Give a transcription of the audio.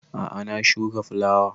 A'a na shuka fulawa